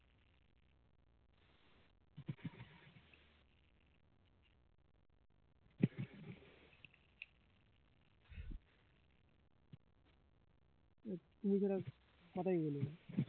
আহ তুই ও যেরকম কথাই বলিনি